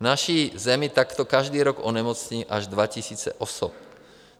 V naší zemi takto každý rok onemocní až 2 000 osob.